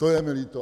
To je mi líto!